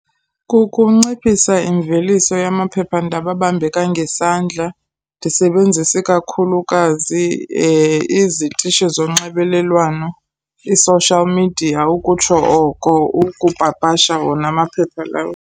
Kukunciphisa imveliso yamaphephandaba abambeka ngesandla. Ndisebenzise kakhulukazi izitishi zonxibelelwano, i-social media ukutsho oko, ukupapasha wona amaphepha lawo.